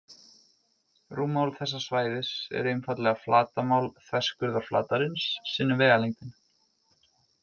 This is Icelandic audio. Rúmmál þessa svæðis er einfaldlega flatarmál þverskurðarflatarins sinnum vegalengdin.